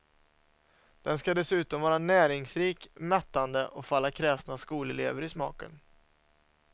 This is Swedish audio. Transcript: Den ska dessutom vara näringsrik, mättande och falla kräsna skolelever i smaken.